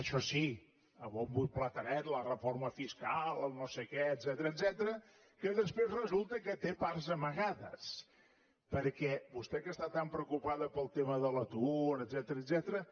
això sí a bombo i platerets la reforma fiscal el no sé què etcètera que després resulta que té parts amagades perquè vostè que està tan preocupada pel tema de l’atur etcètera